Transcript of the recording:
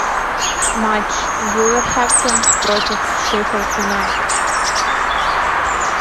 матч вулверхэмптон против шеффилд юнайтед